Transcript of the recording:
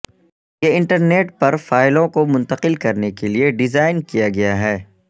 یہ انٹرنیٹ پر فائلوں کو منتقل کرنے کے لئے ڈیزائن کیا گیا ہے